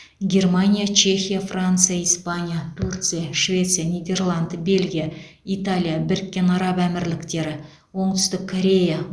германия чехия франция испания турция швеция нидерланд бельгия италия біріккен араб әмірліктері оңтүстік корея